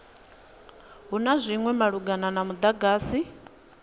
ha zwinwe malugana na mudagasi